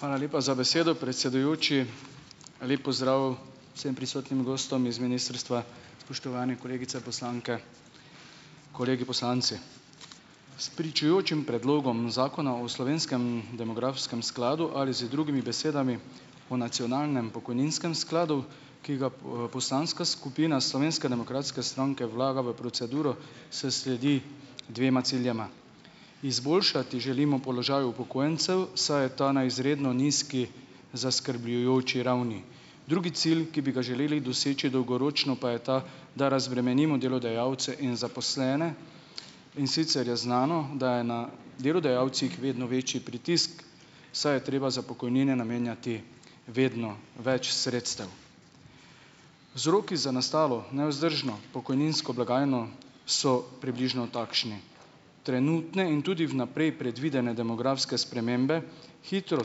Hvala lepa za besedo, predsedujoči, lep pozdrav vsem prisotnim gostom iz ministrstva, spoštovane kolegice poslanke, kolegi poslanci, s pričujočim predlogom zakona o slovenskem demografskem skladu, ali z drugimi besedami, o nacionalnem pokojninskem skladu, ki ga poslanska skupina Slovenske demokratske stranke vlaga v proceduro, s sledi dvema ciljema: izboljšati želimo položaj upokojencev, saj je ta na izredno nizki, zaskrbljujoči ravni, drugi cilj, ki bi ga želeli doseči dolgoročno, pa je ta, da razbremenimo delodajalce in zaposlene, in sicer je znano, da je na delodajalcih vedno večji pritisk, saj je treba za pokojnine namenjati vedno več sredstev, Vzroki za nastalo nevzdržno pokojninsko blagajno so približno takšni. Trenutne in tudi vnaprej predvidene demografske spremembe, hitro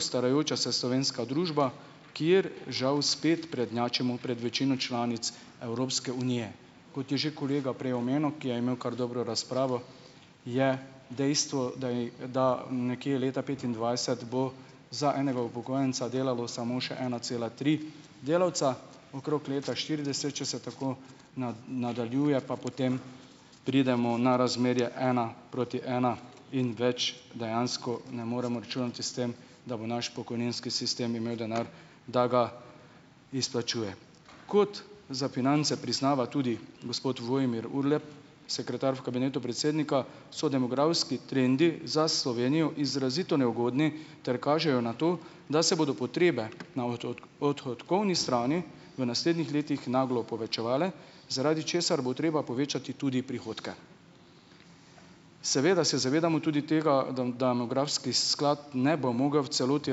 starajoča se slovenska družba, kjer žal spet prednjačimo pred večino članic Evropske unije, kot je že kolega prej omenil, ki je imel kar dobro razpravo, je dejstvo, da i da nekje leta petindvajset bo za enega upokojenca delalo samo še ena cela tri delavca, okrog leta štirideset, če se tako nadaljuje, pa potem pridemo na razmerje ena proti ena, in več dejansko ne moremo računati s tem, da bo naš pokojninski sistem imel denar, da ga izplačuje. Kot za finance priznava tudi gospod Vojmir Urlep, sekretar v kabinetu predsednika, so demografski trendi za Slovenijo izrazito neugodni ter kažejo na to, da se bodo potrebe na odhodkovni strani v naslednjih letih naglo povečevale, zaradi česar bo treba povečati tudi prihodke, seveda se zavedamo tudi tega, demografski sklad ne bo mogel v celoti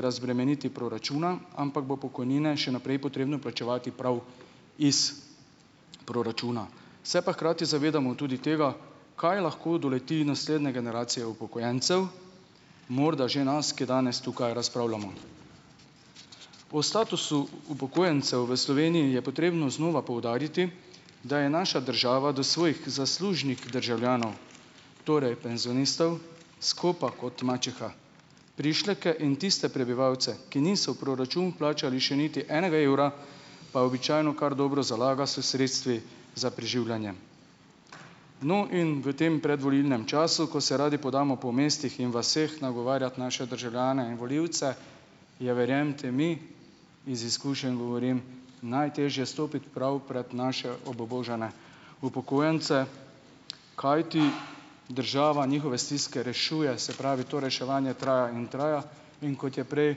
razbremeniti proračuna, ampak bo pokojnine še naprej potrebno plačevati prav iz proračuna, se pa hkrati zavedamo tudi tega, kaj lahko doleti naslednje generacije upokojencev, morda že nas, ki danes tukaj razpravljamo, po statusu upokojencev v Sloveniji je potrebno znova poudariti, da je naša država do svojih zaslužnih državljanov, torej penzionistov, skopa kot mačeha, prišleke in tiste prebivalce, ki niso v proračun plačali še niti enega evra, pa običajno kar dobro nalaga s sredstvi za preživljanje. No, in v tem predvolilnem času, ko se radi podamo po mestih in vaseh nagovarjat naše državljane in volivce, je, verjemite mi, iz izkušenj govorim, najtežje stopiti prav pred naše obubožane upokojence, kajti država njihove stiske rešuje, se pravi, to reševanje traja in traja, in kot je prej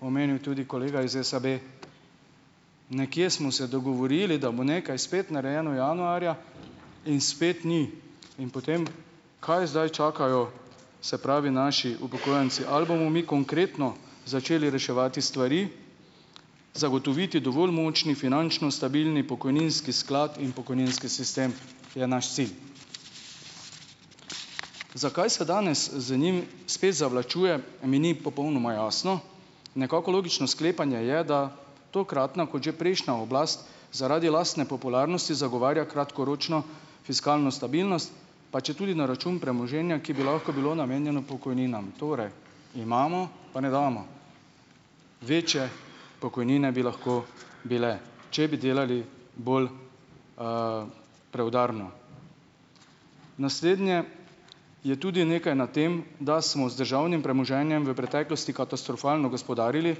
omenil tudi kolega iz SAB, nekje smo se dogovorili, da bo nekaj spet narejeno januarja, in spet ni, in potem, kaj zdaj čakajo, se pravi, naši upokojenci, ali bomo mi konkretno začeli reševati stvari, zagotoviti dovolj močen, finančno stabilen pokojninski sklad in pokojninski sistem, je naš sin, zakaj se danes z njimi spet zavlačuje, mi ni popolnoma jasno, nekako logično sklepanje je, da tokratna kot že prejšnja oblast zaradi lastne popularnosti zagovarja kratkoročno fiskalno stabilnost, pa če tudi na račun premoženja, ki bi lahko bilo namenjeno pokojninam, torej: "Imamo, pa ne damo." Večje pokojnine bi lahko bile, če bi delali bolj, preudarno. Naslednje, je tudi nekaj na tem, da smo z državnim premoženjem v preteklosti katastrofalno gospodarili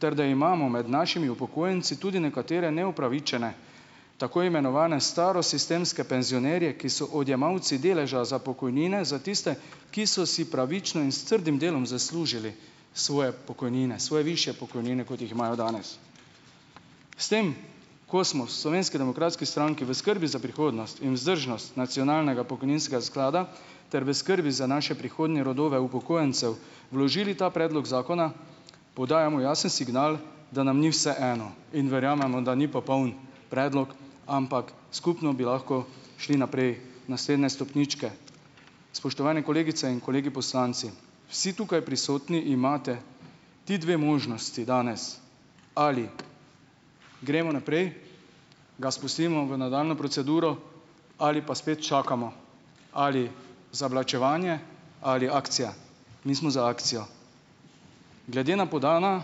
ter da imamo med našimi upokojenci tudi nekatere neupravičene, tako imenovane starosistemske penzionerje, ki so odjemalci deleža za pokojnine za tiste, ki so si pravično in s trdim delom zaslužili svoje pokojnine, svoje višje pokojnine, kot jih imajo danes, s tem, ko smo v Slovenski demokratski stranki v skrbi za prihodnost in vzdržnost nacionalnega pokojninskega sklada ter v skrbi za naše prihodnje rodove upokojencev vložili ta predlog zakona, podajamo jasen signal, da nam ni vseeno, in verjamemo, da ni popoln predlog, ampak skupno bi lahko šli naprej, naslednje stopničke, spoštovani kolegice in kolegi poslanci, vsi tukaj prisotni imate ti dve možnosti danes: ali gremo naprej, ga spustimo v nadaljnjo proceduro, ali pa spet čakamo, ali zavlačevanje ali akcija, mi smo za akcijo. Glede na podana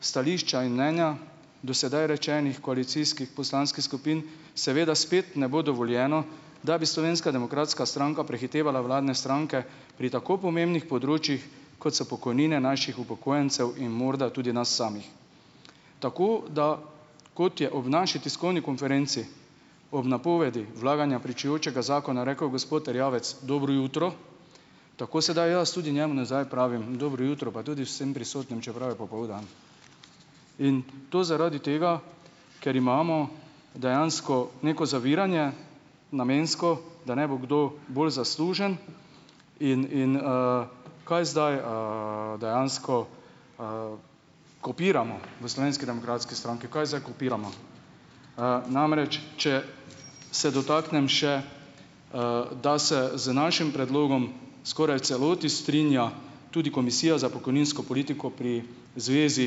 stališča in mnenja do sedaj rečenih koalicijskih poslanskih skupin seveda spet ne bo dovoljeno da bi Slovenska demokratska stranka prehitevala vladne stranke pri tako pomembnih področjih, kot so pokojnine naših upokojencev in morda tudi nas samih, tako da, kot je ob naši tiskovni konferenci ob napovedi vlaganja pričujočega zakona rekel gospod Erjavec: "Dobro jutro." Tako sedaj jaz tudi njemu nazaj pravim: "Dobro jutro," pa tudi vsem prisotnim, čeprav je popoldan. In to zaradi tega, ker imamo dejansko neko zaviranje namensko, da ne bo kdo bolj zaslužen, in, in, kaj zdaj, dejansko, kopiramo v Slovenski demokratski stranki, kaj zdaj kopiramo? namreč če se dotaknem še, da se z našim predlogom skoraj v celoti strinja tudi komisija za pokojninsko politiko pri Zvezi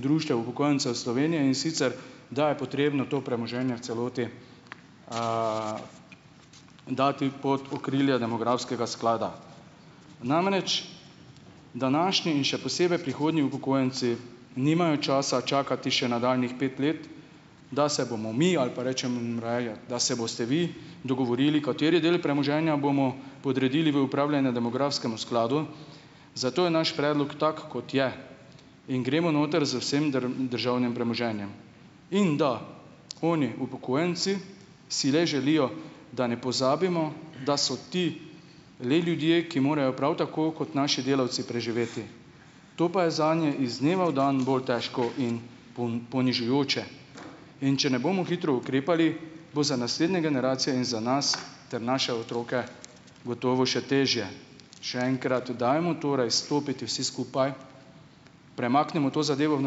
društev upokojencev Slovenije, in sicer da je potrebno to premoženje v celoti, dati pod okrilje demografskega sklada, namreč današnji in še posebej prihodnji upokojenci nimajo časa čakati še nadaljnjih pet let, da se bomo mi, ali pa rečemo raje, da se boste vi dogovorili, kateri del premoženja bomo podredili v upravljanje demografskemu skladu, zato je naš predlog tak, kot je, in gremo noter z vsem državnim premoženjem, in da oni, upokojenci, si res želijo, da ne pozabimo, da so ti le ljudje, ki morajo prav tako kot naši delavci preživeti, to pa je zanje iz dneva v dan bolj težko in ponižujoče, in če ne bomo hitro ukrepali, bo za naslednje generacije in za nas ter naše otroke gotovo še težje. Še enkrat dajmo torej stopiti vsi skupaj, premaknemo to zadevo v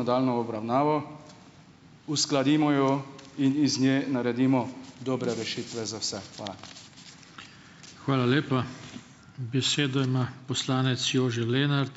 nadaljnjo obravnavo, uskladimo jo in iz nje naredimo dobre rešitve za vse, hvala. Hvala lepa, besedo ima poslanec Jože Lenart.